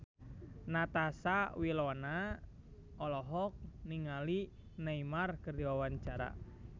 Natasha Wilona olohok ningali Neymar keur diwawancara